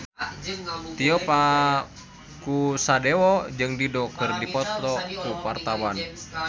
Tio Pakusadewo jeung Dido keur dipoto ku wartawan